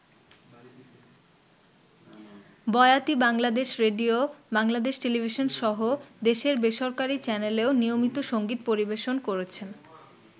বয়াতি Bangladesh radio, Bangladesh টেলিভিশনসহ দেশের বেসরকারি চ্যানেলেও নিয়মিত সংগীত পরিবেশন করেছেন।